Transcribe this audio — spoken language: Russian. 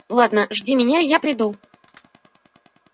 ладно жди меня и я приду